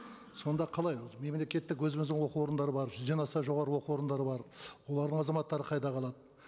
сонда қалай өзі мемлекеттік өзіміздің оқу орындары бар жүзден аса жоғарғы оқу орындары бар олардың азаматтары қайда қалады